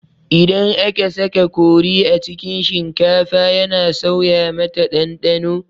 Idan aka saka kori a cikin shinkafa yana sauya mata ɗanɗano